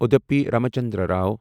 Udupi Ramchandra Rao